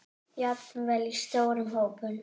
Jafnvel í stórum hópum?